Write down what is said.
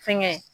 Fɛnkɛ